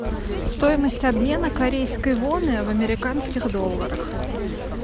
стоимость обмена корейской воны в американских долларах